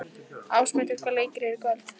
Ásmundur, hvaða leikir eru í kvöld?